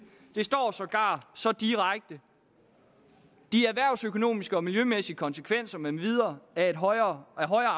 det står sågar så direkte de erhvervsøkonomiske og miljømæssige konsekvenser med videre af højere